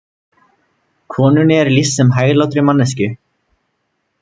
Konunni er lýst sem hæglátri manneskju